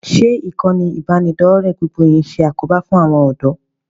Ṣé ìkànnì ìbánidọ́ọ̀rẹ́ gbogbo yìí ń ṣe àkóbá fún àwọn ọ̀dọ́?